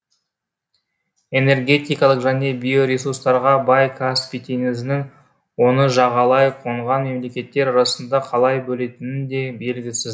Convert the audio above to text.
энергетикалық және биоресурстарға бай каспий теңізінің оны жағалай қонған мемлекеттер арасында қалай бөлінетіні де белгісіз